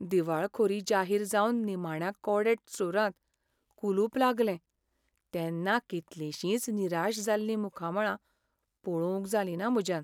दिवाळखोरी जाहीर जावन निमाण्या कोडॅक स्टोराक कुलूप लागलें तेन्ना कितलिशींच निराश जाल्लीं मुखामळां पळोवंक जालिंना म्हज्यान.